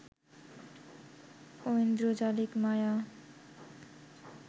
ঐন্দ্রজালিক মায়া